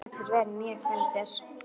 Sem getur verið mjög fyndið.